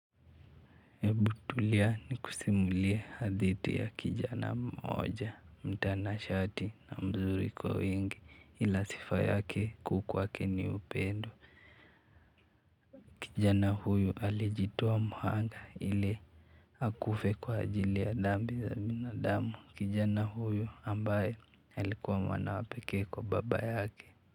Ebu tulia nikusimulie hadithi ya kijana mmoja mtanashati na mzuri kwa wingi, ila sifa yake kuu kwake ni upendo. Kijana huyu alijitoa muhanga ili hakufe kwa ajili ya dhambi za binadamu kijana huyu ambaye alikuwa mwana wapekee kwa baba yake.